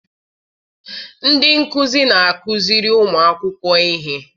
Ndị nkuzi na-akụziri ụmụakwụkwọ ihe.